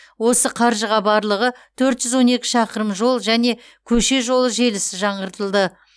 осы қаржыға барлығы төрт жүз он екі шақырым жол және көше жолы желісі жаңғыртылды